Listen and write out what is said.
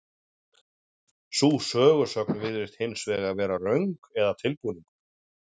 Sú sögusögn virðist hins vegar vera röng eða tilbúningur.